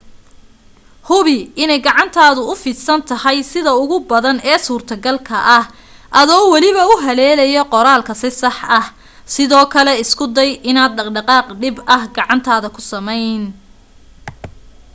hubi inay gacantaadu u fidsan tahay sida ugu badan ee suurtogalka ah adoo waliba u haleelaya qoraalka si sax ah sidoo kale isku day inaanad dhaqaaq dhib ah gacantaada ku samayn